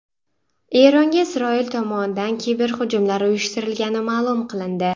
Eronga Isroil tomonidan kiberhujumlar uyushtirilgani ma’lum qilindi.